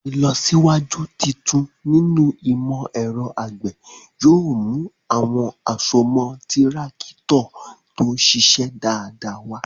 Ìlọsíwájú tuntun nínú ìmọ̀ ẹ̀rọ àgbẹ̀ yóò mú àwọn àsomọ́ Tírákítọ̀ tó ṣiṣẹ́ dáadáa wá.